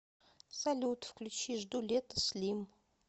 салют включи жду лета слим